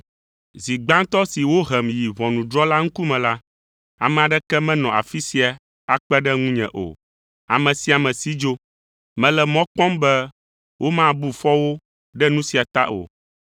Zi gbãtɔ si wohem yi ʋɔnudrɔ̃la ŋkume la, ame aɖeke menɔ afi sia akpe ɖe ŋunye o, ame sia ame si dzo. Mele mɔ kpɔm be womabu fɔ wo ɖe nu sia ta o.